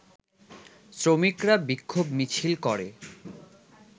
শ্রমিকরা বিক্ষোভ মিছিল করে